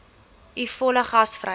u volle gasvryheid